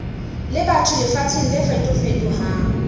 le batho lefatsheng le fetofetohang